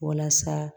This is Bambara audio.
Walasa